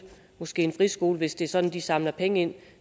en friskole hvis det er sådan at de samler penge ind